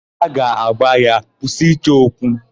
Ha ga-agwa ya, "kwụsị ịchọ okwu"!